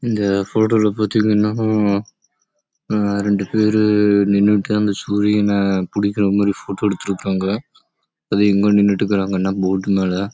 இந்த போட்டோ லே பதிங்க ந ரெண்டு பேரு நின்னுட்டு சூரியன் ஆஹ் புடிக்கற மாரி போட்டோ எடுக்கறாங்க